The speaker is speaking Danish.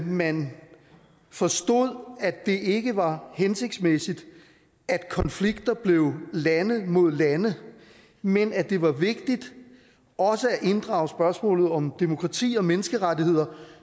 man forstod at det ikke var hensigtsmæssigt at konflikter blev lande mod lande men at det var vigtigt også at inddrage spørgsmålet om demokrati og menneskerettigheder